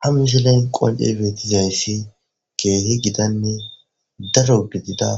ha mishilen qonce beetizayssi keehi gidanne daro gidida